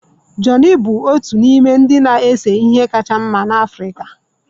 Johnny bụ otu n'ime ndị na-ese ihe kacha mma n'Africa